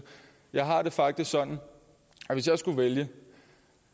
jeg har det faktisk sådan at hvis jeg skulle vælge